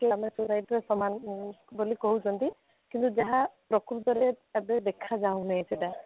ପିଲାମାନେ society ର ସମାନ ବୋଲି କହୁଛନ୍ତି କିନ୍ତୁ ଯାହା ପ୍ରକୃତରେ ଏବେ ଦେଖା ଯାଉନି ସେଇଟା